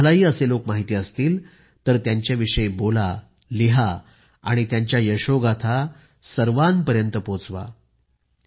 जर तुम्हालाही असे लोक माहिती असतील तर त्यांच्या विषयी बोला लिहा आणि त्यांच्या यशोगाथा सर्वांपर्यंत पोहोचवा